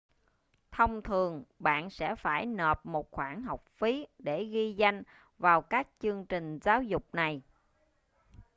thông thường bạn sẽ phải nộp một khoản học phí để ghi danh vào các chương trình giáo dục này